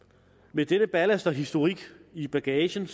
med denne ballast og historik i bagagen